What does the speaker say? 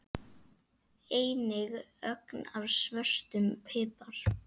Einnig ögn af svörtum pipar.